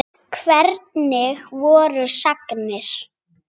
Hvernig voru sagnir?